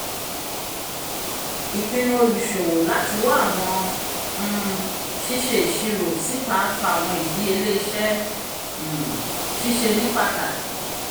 ìpinnu oluṣowo lati wa awọn um ṣiṣe iṣiro síta fà awọn ìdíyelé iṣẹ́ um ṣíṣe ní pàtàkì